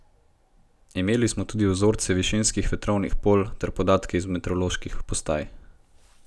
Imeli smo tudi vzorce višinskih vetrovnih polj ter podatke z meteoroloških postaj.